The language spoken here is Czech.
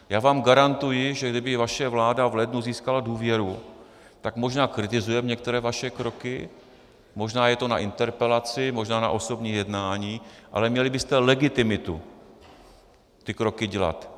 Já vám garantuji, že kdyby vaše vláda v lednu získala důvěru, tak možná kritizujeme některé vaše kroky, možná je to na interpelaci, možná na osobní jednání, ale měli byste legitimitu ty kroky dělat.